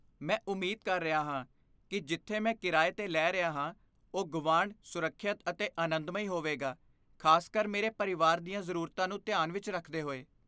ਮੈਂ ਉਮੀਦ ਕਰ ਰਿਹਾ ਹਾਂ ਕਿ ਜਿੱਥੇ ਮੈਂ ਕਿਰਾਏ 'ਤੇ ਲੈ ਰਿਹਾ ਹਾਂ ਉਹ ਗੁਆਂਢ, ਸੁਰੱਖਿਅਤ ਅਤੇ ਆਨੰਦਮਈ ਹੋਵੇਗਾ, ਖ਼ਾਸਕਰ ਮੇਰੇ ਪਰਿਵਾਰ ਦੀਆਂ ਜ਼ਰੂਰਤਾਂ ਨੂੰ ਧਿਆਨ ਵਿੱਚ ਰੱਖਦੇ ਹੋਏ।